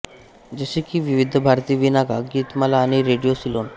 जसे की विविध भारती बीनाका गीतमाला आणि रेडिओ सिलोन